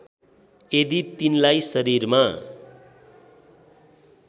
यदि तिनलाई शरीरमा